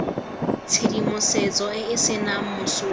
tshedimosetso e e senang mosola